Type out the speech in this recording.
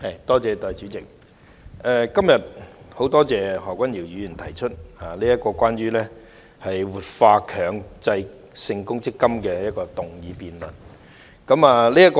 代理主席，今天十分感謝何君堯議員提出關於"活化強制性公積金"議案的辯論。